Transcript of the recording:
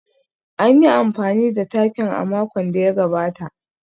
An yi amfani da takin a makon da ya gabata